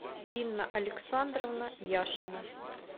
инна александровна яшина